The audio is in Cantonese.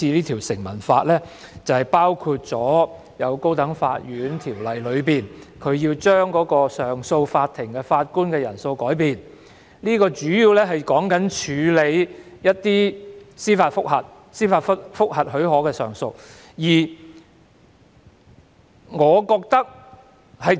《條例草案》提出的建議，包括修訂《高等法院條例》，將上訴法庭的法官人數改變，主要針對處理某些司法覆核許可的上訴。